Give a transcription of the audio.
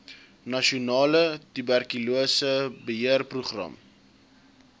nasionale tuberkulose beheerprogram